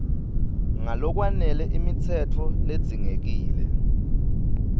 ngalokwanele imitsetfo ledzingekile